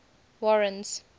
warren's